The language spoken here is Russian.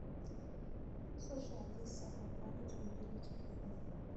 слушай алиса пополнить мобильный телефон